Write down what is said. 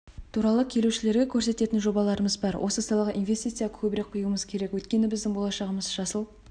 туралы келушілерге көрсететін жобаларымыз бар осы салаға инвестиция көбірек құюымыз керек өйткені біздің болашағымыз жасыл